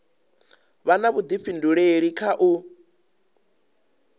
vha na vhudifhinduleli kha u